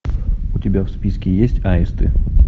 у тебя в списке есть аисты